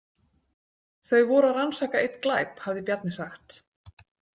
Þau voru að rannsaka einn glæp, hafði Bjarni sagt.